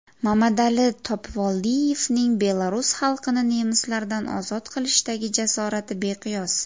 Mamadali Topivoldiyevning belarus xalqini nemislardan ozod qilishdagi jasorati beqiyos.